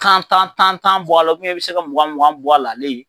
Tan tan tan tan bɔ a la i bɛ se ka mugan mugan bɔ a la ale ye.